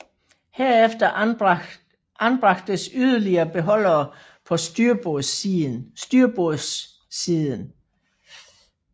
Herefter anbragtes yderligere beholdere på styrbordssiden